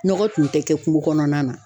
Nɔgɔ tun tɛ kɛ kungo kɔnɔna na.